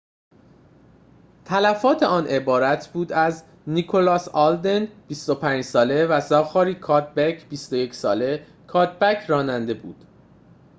تلفات آن عبارت بود از نیکلاس آلدن ۲۵ ساله و زاخاری کادبک ۲۱ ساله کادبک راننده بود